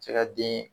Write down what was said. Cɛ ka den